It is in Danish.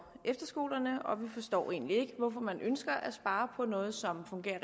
efterskolerne vi forstår egentlig ikke hvorfor man ønsker at spare på noget som fungerer